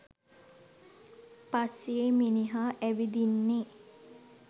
පස්සේ මිනිහා ඇවිදින්නේ.